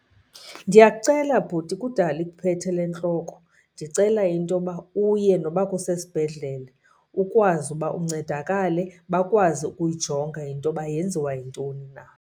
Ndiyakucela bhuti, kudala ikuphethe le ntloko. Ndicela into yoba uye noba kusesibhedlele ukwazi uba uncedakale, bakwazi ukuyijonga into yoba yenziwa yintoni na.